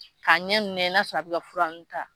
K'a ɲɛ ninnu lajɛ n'a sɔrɔ a bɛ ka fura ninnu ta